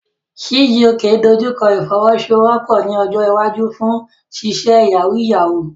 Chijioke dojú kọ ìfọwọ́sowọ́pọ̀ ní ọjọ́ iwájú fún ṣíṣe yahoo yahoo.